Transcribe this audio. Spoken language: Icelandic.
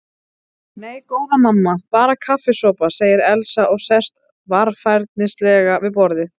Nei, góða mamma, bara kaffisopa, segir Elsa og sest varfærnislega við borðið.